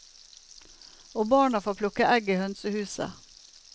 Og barna får plukke egg i hønsehuset.